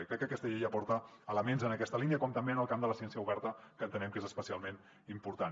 i crec que aquesta llei aporta elements en aquesta línia com també en el camp de la ciència oberta que entenem que és especialment important